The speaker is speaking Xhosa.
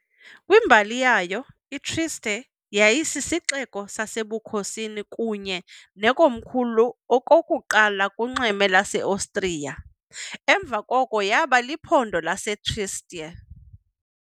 Kwimbali yayo, iTrieste yayisisixeko sasebukhosini kunye nekomkhulu okokuqala kunxweme lwaseOstriya, emva koko yaba liphondo laseTrieste .